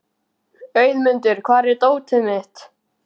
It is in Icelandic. Auðmundur, hvar er dótið mitt?